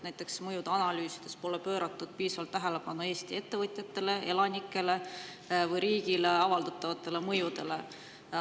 Näiteks pole mõjude analüüsides pööratud piisavalt tähelepanu Eesti ettevõtjatele, elanikele või riigile avalduvatele mõjudele.